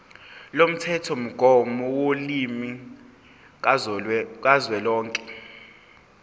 lomthethomgomo wolimi kazwelonke